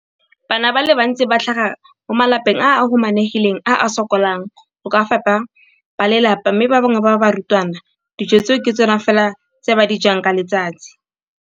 Bana ba le bantsi ba tlhaga mo malapeng a a humanegileng a a sokolang go ka fepa ba lelapa mme ba bangwe ba barutwana, dijo tseo ke tsona fela tse ba di jang ka letsatsi.